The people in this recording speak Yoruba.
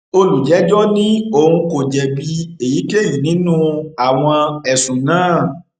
olùjẹjọ ní òun kò jẹbi èyíkéyìí nínú àwọn ẹsùn náà